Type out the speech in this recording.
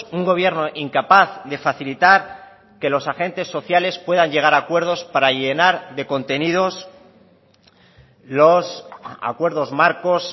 un gobierno incapaz de facilitar que los agentes sociales puedan llegar a acuerdos para llenar de contenidos los acuerdos marcos